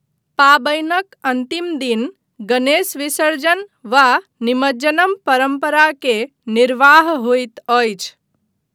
पाबनिक अन्तिम दिन गणेश विसर्जन वा निमज्जनम परम्परा के निर्वाह होइत अछि।